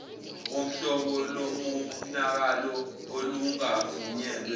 wuhlobo lomonakalo olungavunyelwe